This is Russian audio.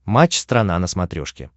матч страна на смотрешке